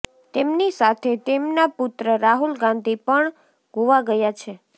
તેમની સાથે તેમના પુત્ર રાહુલ ગાંધી પણ ગોવા ગયા છે